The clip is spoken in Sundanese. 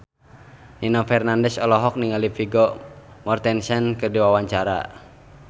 Nino Fernandez olohok ningali Vigo Mortensen keur diwawancara